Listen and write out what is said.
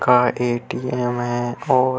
का ए.टी.एम. है और --